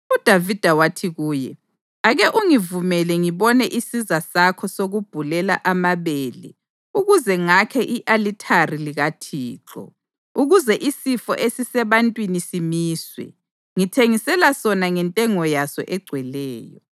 UDavida wathi kuye, “Ake ungivumele ngibone isiza sakho sokubhulela amabele ukuze ngakhe i-alithari likaThixo, ukuze isifo esisebantwini simiswe. Ngithengisela sona ngentengo yaso egcweleyo.”